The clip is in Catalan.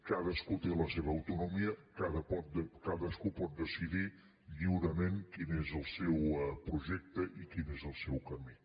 cadascú té la seva autonomia cadascú pot decidir lliurement quin és el seu projecte i quin és el seu camí